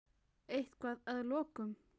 Eitthvað að að lokum?